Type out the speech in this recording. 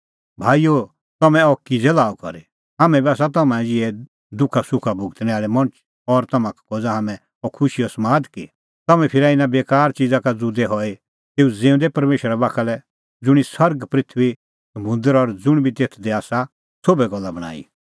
भाईओ तम्हैं अह किज़ै लाअ करी हाम्हैं बी आसा तम्हां ई ज़िहै दुखासुखा भुगतणै आल़ै मणछ और तम्हां का खोज़ा हाम्हैं अह खुशीओ समाद कि तम्हैं फिरा इना बेकार च़िज़ा का ज़ुदै हई तेऊ ज़िऊंदै परमेशरा बाखा लै ज़ुंणी सरग पृथूई समुंदर और ज़ुंण बी तेथ दी आसा सोभै गल्ला बणांईं